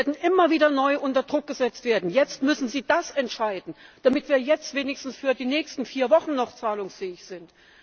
Wir werden immer wieder neu unter Druck gesetzt werden Jetzt müssen sie das entscheiden, damit wir wenigstens für die nächsten vier Wochen noch zahlungsfähig sind.